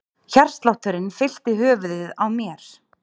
Hjartslátturinn fyllti höfuðið á mér.